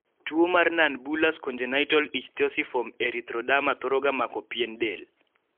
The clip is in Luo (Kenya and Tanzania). tuo mar Nonbullous congenital ichthyosiform erythroderma thoro ga mako pien del